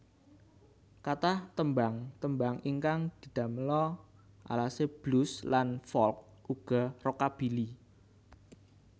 Kathah tembhang tembhang ingkang didamela alasé blues lan folk uga rockabilly